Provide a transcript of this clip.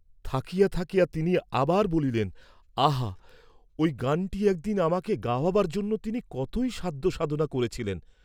থাকিয়া থাকিয়া তিনি আবার বলিলেন আহা ঐ গানটী এক দিন আমাকে গাওয়াবার জন্য তিনি কতই সাধ্যসাধনা করেছিলেন।